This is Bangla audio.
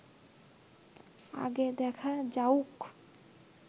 আগে দেখা যাউক